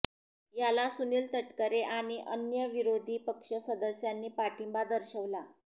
याला सुनील तटकरे आणि अन्य विरोधी पक्ष सदस्यांनी पाठिंबा दर्शवला